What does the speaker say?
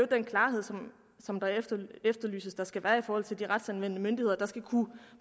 den klarhed som det efterlyses at der skal være i forhold til de retsanvendende myndigheder der skal kunne